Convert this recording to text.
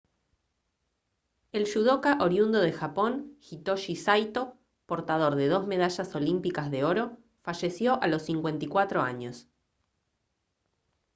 el yudoca oriundo de japón hitoshi saito portador de dos medallas olímpicas de oro falleció a los 54 años